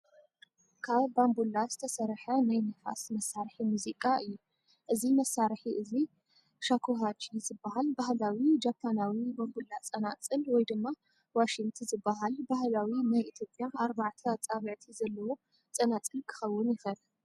ካብ ባምቡላ ዝተሰርሐ ናይ ንፋስ መሳርሒ ሙዚቃ እዩ። እዚ መሳርሒ እዚ ሻኩሃቺ ዝበሃል ባህላዊ ጃፓናዊ ባምቡላ ጸናጽል ወይ ድማ ዋሺንት ዝበሃል ባህላዊ ናይ ኢትዮጵያ ኣርባዕተ ኣጻብዕቲ ዘለዎ ጸናጽል ክኸውን ይኽእል።